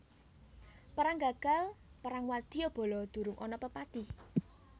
Perang gagal perang wadyabala durung ana pepati